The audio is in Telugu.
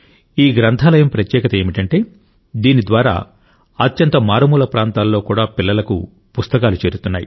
ఈ గ్రంథాలయం ప్రత్యేకత ఏమిటంటే దీని ద్వారా అత్యంత మారుమూల ప్రాంతాలలో కూడా పిల్లలకు పుస్తకాలు చేరుతున్నాయి